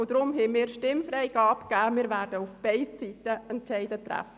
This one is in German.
Darum haben wir Stimmfreigabe beschlossen.